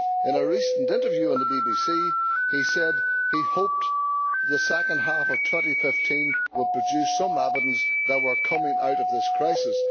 In a recent interview on the BBC, he said he hoped the second half of 2015 would produce some evidence that we are coming out of this crisis.